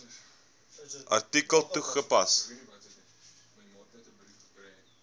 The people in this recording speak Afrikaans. artikel toegepas